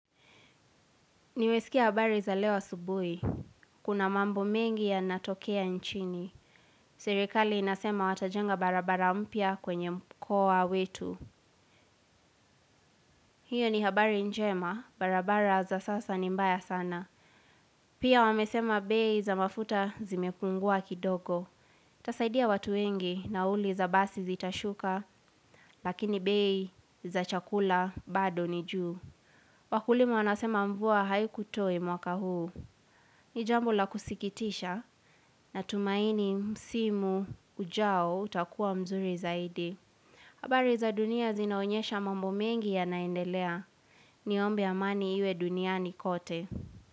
Nimesikia habari za leo asubuhi. Kuna mambo mengi yanatokea nchini. Serikali inasema watajenga barabara mpya kwenye mkoa wetu. Hiyo ni habari njema, barabara za sasa ni mbaya sana. Pia wamesema bei za mafuta zimepungua kidogo. Itasaidia watu wengi nauli za basi zitashuka, lakini bei za chakula bado nijuu. Wakulima wanasema mvua haiku toe mwaka huu. Nijambo lakusikitisha natumaini msimu ujao utakuwa mzuri zaidi. Habari za dunia zinaonyesha mambo mengi yanaendelea. Niombe amani iwe duniani kote.